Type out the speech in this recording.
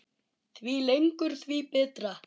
Því lengur því betra.